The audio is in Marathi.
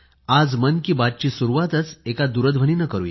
आज मन की बात ची सुरवातच एका दूरध्वनीने करूया